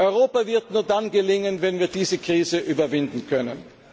Europa wird nur dann gelingen, wenn wir diese Krise überwinden können!